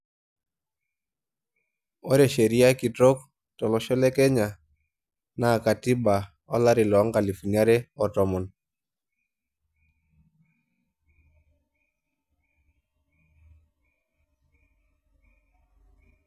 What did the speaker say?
Ore sheria kitok tolosho le Kenya, naa katiba olari loonkalusuni are o tomon.